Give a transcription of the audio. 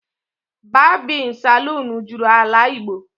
Babin Salon juru AlaIgbo